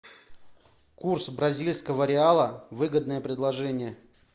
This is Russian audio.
курс бразильского реала выгодное предложение